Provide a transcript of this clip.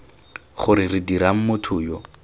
gore re dirang motho yo